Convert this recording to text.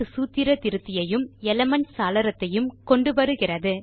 சூத்திர திருத்தியையும் எலிமென்ட்ஸ் சாளரத்தையும் கொண்டு வருகிறது